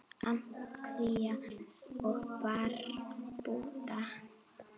Antígva og Barbúda